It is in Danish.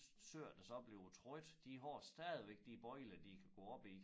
Søer der så bliver trykket de har stadigvæk de bøjler de kan gå op i